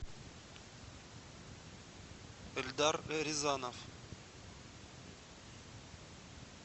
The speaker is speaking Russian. эльдар рязанов